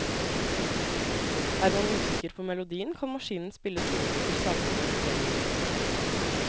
Er man usikker på melodien kan maskinen spille tonene til salmen og refrenget.